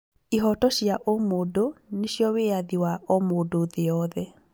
Ihoto cia ũmũndũ nĩ cio wĩyathi wa o mũndũ thĩ yothe.